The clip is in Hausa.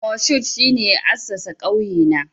Moshood shine ya assasa kauyena